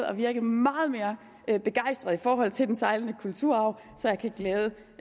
at virke meget mere begejstret i forhold til den sejlende kulturarv så jeg kan glæde